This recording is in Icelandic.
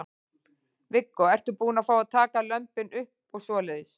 Viggó: Ertu búin að fá að taka lömbin upp og svoleiðis?